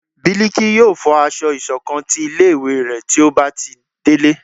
Biliki yóò fọ aṣọ ìṣọ̀kan tí ilé ìwé ré tí ó ba delé